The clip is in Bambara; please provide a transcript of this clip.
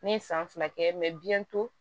Ne ye san fila kɛ biyɛn to